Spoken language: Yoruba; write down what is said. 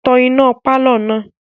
Tan iná pálọ̀ náà!